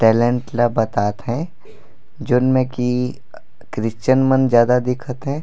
Talent ला बतात है जोन में की क्रिस्चियन मन ज्यादा दिखत है।